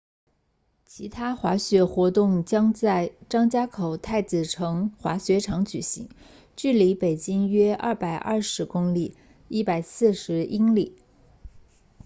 其他滑雪活动将在张家口太子城滑雪场举行距离北京约220公里140英里